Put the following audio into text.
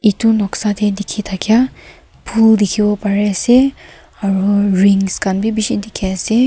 edu noksa de dikhi thakia pool dikhi bo pare ase aru rings khan b bishi dikhi ase.